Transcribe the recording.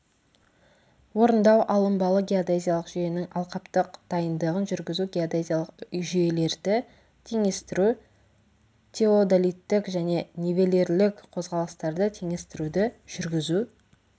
орындау алынбалы геодезиялық жүйенің алқаптық дайындығын жүргізу геодезиялық жүйелерді теңестіру теодолиттік және нивелирлік қозғалыстарды теңестіруді жүргізу